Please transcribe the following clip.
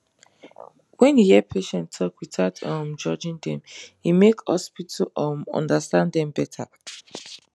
when you hear patient talk without um judging dem e make hospital um understand dem better